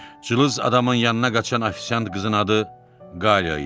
Cılız adamın yanına qaçan ofisiant qızın adı Qaliya idi.